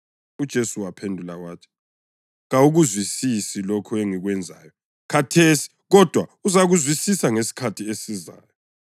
UJesu waphendula wathi, “Kawukuzwisisi lokhu engikwenzayo khathesi kodwa uzakuzwisisa ngesikhathi esizayo.”